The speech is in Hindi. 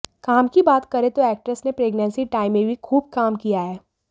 काम की बात करें तो एक्ट्रेस ने प्रेग्नेंसी टाइम में भी खूब काम किया है